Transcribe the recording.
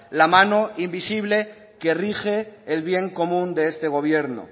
la mano invisible que rige el bien común de este gobierno